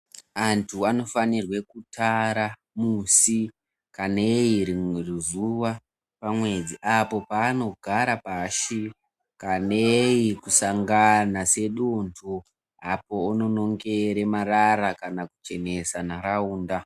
Antu anofana kutara musi kanei rimwe zuwa pamwedzi apo paanogara pashi kanei kusangana sedunthu apo uno nongere marara kana kuchenesa nharaunda.